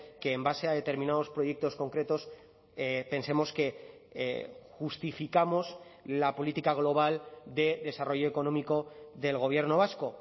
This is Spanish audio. que en base a determinados proyectos concretos pensemos que justificamos la política global de desarrollo económico del gobierno vasco